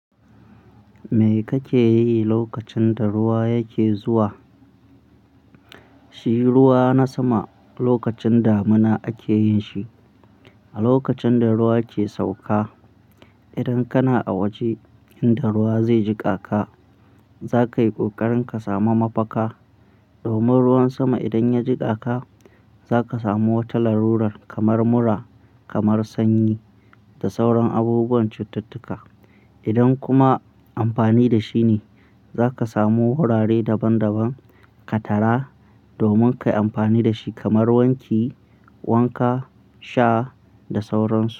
Me kake yi lokacin da ruwa yake zuwa? Shi ruwa na sama lokacin damuna ake yin shi. A lokacin da ruwa ke sauka, idan kana a waje inda ruwa zai jiƙa ka, za ka yi ƙoƙarin ka sami mafaka. Domin ruwan sama idan ya jiƙa ka, za ka samu wata larurar kamar mura, kamar sanyi da sauran abubuwan cittutuka. Idan kuma amfani da shi ne, za ka samu wurare daban-daban ka tara domin ka yi amfani da shi kamar wanki, wanka, sha da sauran su.